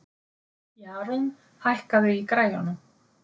Jarún, hækkaðu í græjunum.